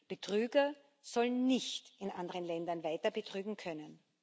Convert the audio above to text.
Betrüger sollen nicht in anderen Ländern weiter betrügen können.